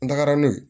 N tagara n'o ye